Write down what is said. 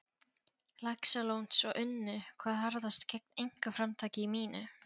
Laxalóns og unnu hvað harðast gegn einkaframtaki mínu.